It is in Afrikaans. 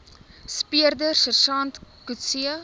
speurder sersant coetzee